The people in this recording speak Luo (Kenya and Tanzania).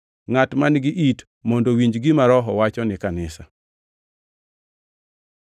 Ngʼat man-gi it mondo owinj gima Roho wacho ni kanisa.”